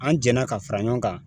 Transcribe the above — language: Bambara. An jɛnna ka fara ɲɔgɔn kan